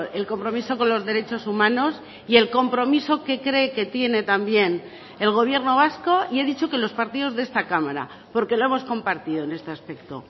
el compromiso con los derechos humanos y el compromiso que cree que tiene también el gobierno vasco y he dicho que los partidos de esta cámara porque lo hemos compartido en este aspecto